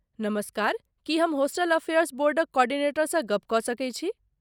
नमस्कार, की हम होस्टल अफेयर्स बोर्डक कोर्डिनेटरसँ गप्प कऽ सकैत छी?